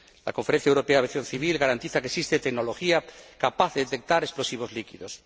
La Conferencia Europea de Aviación Civil garantiza que existe tecnología capaz de detectar explosivos líquidos.